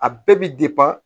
A bɛɛ bi